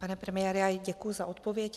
Pane premiére, děkuji za odpověď.